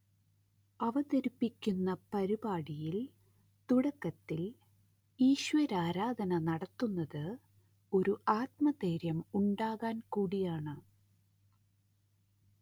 അവതരിപ്പിക്കുന്ന പരിപാടിയിൽ തുടക്കത്തിൽ ഈശ്വരാരാധന നടത്തുന്നത് ഒരു ആത്മധൈര്യം ഉണ്ടാകാൻ കൂടിയാണ്